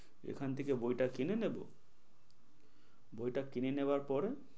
এখান থেকে বইটা কিনে নেব বইটা কিনে নেবার পরে,